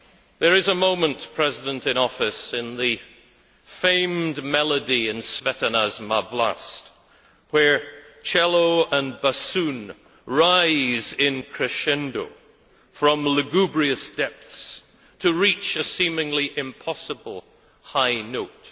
There is a moment, President in Office, in the famed melody in Smetana's Má Vlast where cello and bassoon rise in crescendo from lugubrious depths to reach a seemingly impossible high note.